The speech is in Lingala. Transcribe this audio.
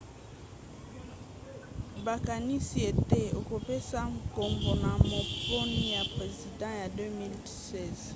bakanisi ete akopesa nkombo na maponi ya president ya 2016